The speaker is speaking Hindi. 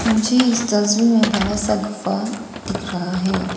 मुझे इस तस्वीर में बड़ा सा गुफा दिख रहा है।